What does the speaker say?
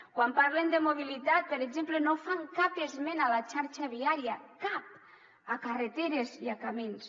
quan parlen de mobilitat per exemple no fan cap esment a la xarxa viària cap a carreteres i a camins